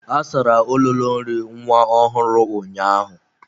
A sara ololo nri nwa ọhụrụ ụnyaahụ.